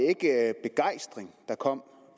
ikke begejstring der kom